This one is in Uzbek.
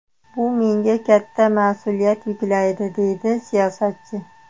Bu menga katta mas’uliyat yuklaydi”, deydi siyosatchi.